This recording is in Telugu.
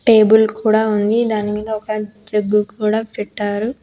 టేబుల్ కూడా ఉంది దాని మీద ఒక జగ్గు కూడా పెట్టారు.